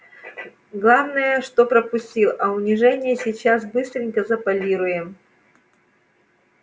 главное что пропустил а унижение сейчас быстренько заполируем